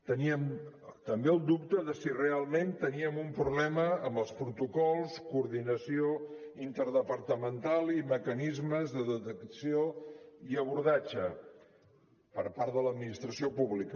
teníem també el dubte de si realment teníem un problema amb els protocols coordinació interdepartamental i mecanismes de detecció i abordatge per part de l’administració pública